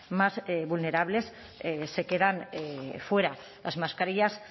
más vulnerables se quedan fuera las mascarillas